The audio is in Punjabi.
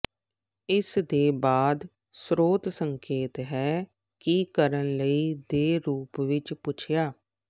ਇਸ ਦੇ ਬਾਅਦ ਸਰੋਤ ਸੰਕੇਤ ਹੈ ਕਿ ਕੀ ਕਰਨ ਲਈ ਦੇ ਰੂਪ ਵਿੱਚ ਪੁੱਛਿਆ